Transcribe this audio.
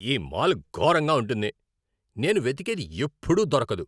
ఈ మాల్ ఘోరంగా ఉంటుంది. నేను వెతికేది ఎప్పుడూ దొరకదు.